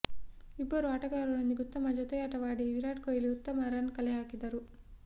ಇಬ್ಬರು ಆಟಗರರೊಂದಿಗೆ ಉತ್ತಮ ಜೊತೆಯಾಟವಾಡಿ ವಿರಾಟ್ ಕೊಹ್ಲಿ ಉತ್ತಮ ರನ್ ಕಲೆ ಹಾಕಿದರು